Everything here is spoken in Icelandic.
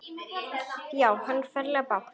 Já, hann á ferlega bágt.